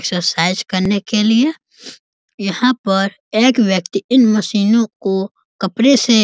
exercise करने के लिए यहाँ पर एक व्यक्ति इन मशीनों को कपड़े से --